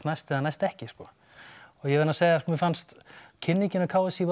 næst eða næst ekki og ég verð að segja mér fannst kynningin hjá k s í